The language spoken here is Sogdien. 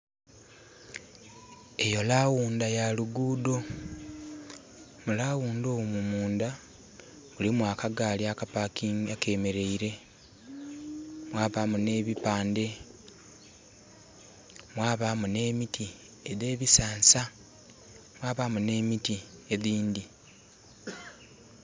Eyo laghundha ya lughudho mulaghundha omwo mundha mulimu akagali akemereire mwabamu nhe bipandhe, mwabamu nhe miti edhe bisansa mwabamu nhe miti edhindhi.